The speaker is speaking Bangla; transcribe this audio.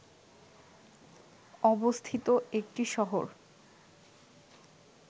অবস্থিত একটি শহর